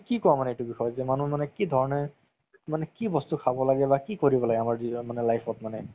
কি কুৱা মানে এইটো বিষয়ে মানুহে মানে কি ধৰণে মানে কি বস্তু খাব লাগে বা কি কৰিব লাগে আমাৰ মানে নিজৰ life ত মানে